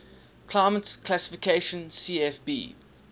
climate classification cfb